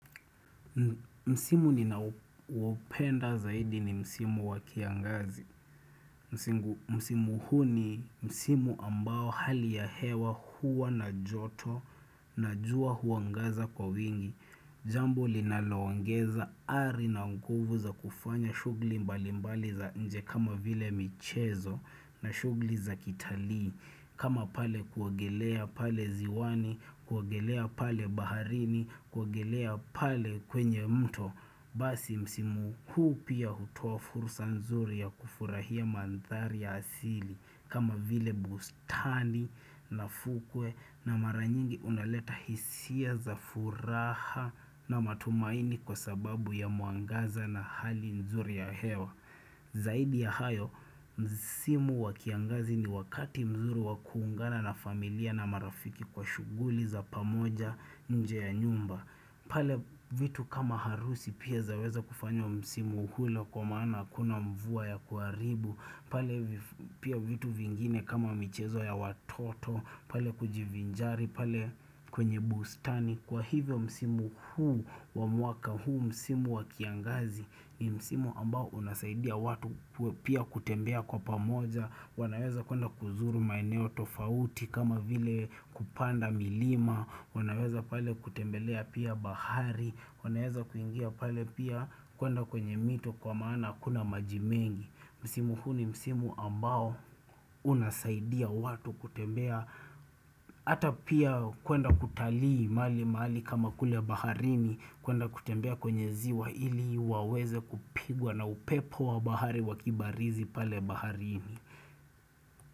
Msimu ninaoupenda zaidi ni Msimu wa kiangazi. Msimu huu ni Msimu ambao hali ya hewa huwa na joto na jua huangaza kwa wingi. Jambo linaloongeza ari na nguvu za kufanya shughuli mbali mbali za nje kama vile michezo na shughuli za kitalii kama pale kuogelea pale ziwani, kuogelea pale baharini, kuogelea pale kwenye mto. Basi msimu huu pia hutoa fursa nzuri ya kufurahia mandhari ya asili kama vile bustani na fukwe na maranyingi unaleta hisia za furaha na matumaini kwa sababu ya mwangaza na hali nzuri ya hewa Zaidi ya hayo msimu wa kiangazi ni wakati mzuri wa kuungana na familia na marafiki kwa shughuli za pamoja nje ya nyumba pale vitu kama harusi pia zaweza kufanywa msimu hilo kwa maana hakuna mvua ya kuharibu pale pia vitu vingine kama michezo ya watoto pale kujivinjari, pale kwenye bustani Kwa hivyo msimu huu, wa mwaka huu msimu wa kiangazi ni msimu ambao unasaidia watu pia kutembea kwa pamoja wanaweza kuenda kuzuru maeneo tofauti kama vile kupanda milima wanaweza pale kutembelea pia bahari wanaweza kuingia pale pia kwenda kwenye mito kwa maana hakuna maji mengi msimu huu ni msimu ambao unasaidia watu kutembea ata pia kwenda kutalii mali mali kama kule baharini kwenda kutembea kwenye ziwa ili waweze kupigwa na upepo wa bahari wakibarizi pale baharini.